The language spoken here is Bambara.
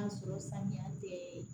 sɔrɔ saniya tɛ